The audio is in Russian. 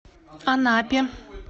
анапе